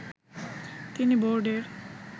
তিনি বোর্ডের